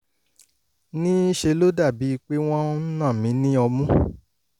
ní í ṣe ló dàbíi pé wọ́n ń na mi ní ọmú